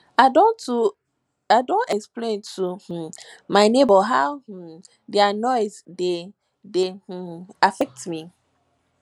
i don explain to um my nebor how um their noise dey dey um affect me